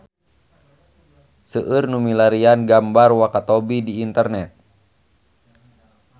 Seueur nu milarian gambar Wakatobi di internet